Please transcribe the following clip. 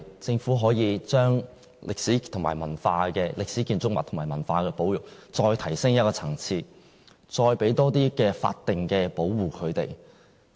政府可否把歷史建築物和文化保育再提升一個層次，給予更多的法定保護？